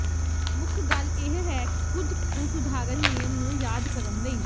ਮੁੱਖ ਗੱਲ ਇਹ ਹੈ ਕੁਝ ਕੁ ਸਧਾਰਨ ਨਿਯਮ ਨੂੰ ਯਾਦ ਕਰਨ ਲਈ